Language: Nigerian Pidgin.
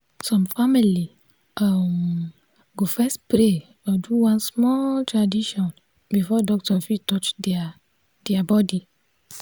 some family um go first pray or do one small tradition before doctor fit touch their their body.